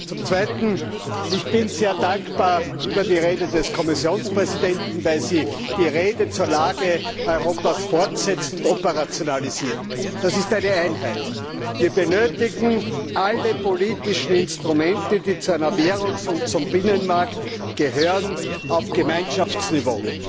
Zum Zweiten Ich bin sehr dankbar für die Rede des Kommissionspräsidenten, weil sie die Rede zur Lage Europas fortsetzt und operationalisiert das ist eine Einheit. Wir benötigen alle politischen Instrumente, die zu einer Währungsunion und zum Binnenmarkt gehören auf Gemeinschaftsniveau.